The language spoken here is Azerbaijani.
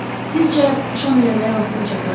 Sizcə şam eləməyə vaxtım çatar?